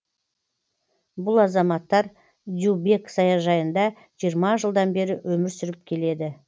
бұл азаматтар дюбек саяжайында жиырма жылдан бері өмір сүріп келеді